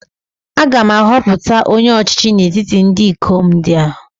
A ga-ahọpụta onye ọchịchị n’etiti ndị ikom ndị a